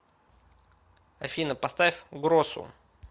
афина поставь гросу